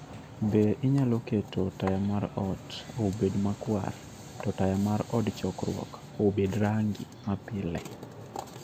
Be inyalo keto taya mar ot obed makwar, to taya mar od chokruok obed mar rangi mapile?